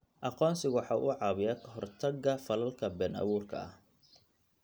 Aqoonsigu waxa uu caawiyaa ka hortagga falalka been abuurka ah.